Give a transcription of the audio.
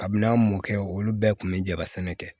A bina mɔ kɛ olu bɛɛ kun bɛ jɛ ka sɛnɛ kɛ